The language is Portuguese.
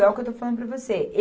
É o que eu estou falando para você.